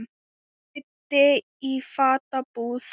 Auddi í fatabúð